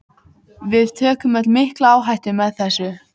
Við tökum öll mikla áhættu með þessu.